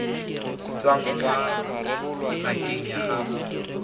tswang kwa ngakeng ya gago